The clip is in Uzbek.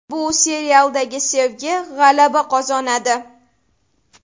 Bu serialda sevgi g‘alaba qozonadi.